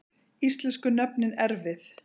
Íslensku nöfnin erfið